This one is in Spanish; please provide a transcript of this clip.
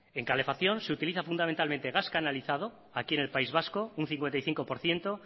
en calefacción se utiliza fundamentalmente gas canalizado aquí en el país vasco un cincuenta y cinco por ciento